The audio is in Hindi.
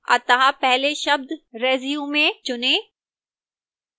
अतः पहले शब्द resume चुनें